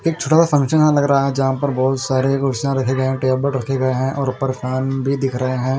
एक छोटा सा फंकशन यहाँ लग रहा है जहाँ पर बहोत सारे कुर्सिया रखे गए हैं टेबल रखे गए है और परेशान भी दिख रहे हैं।